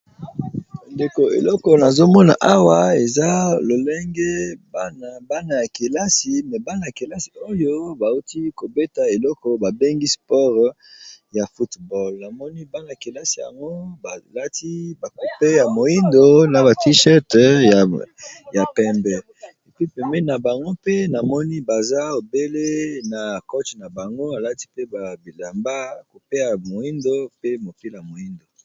Ndeko eloko nazomona awa eza lolenge kelai me bana ya kelasi oyo bawuti kobeta eleko babengi spore ya football namoni bana ya kelasi yango balati bakupe ya moindo na ba tishete ya pembe epi peme na bango mpe na moni baza ebele na coche na bango alati pe babilamba kupeya moindo pe mokila moindo.